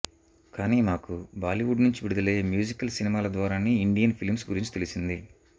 కానీ మాకు బాలీవుడ్ నుంచి విడుదలయ్యే మ్యూజికల్ సినిమాల ద్వారానే ఇండియన్ ఫిలింస్ గురించి తెలిసింది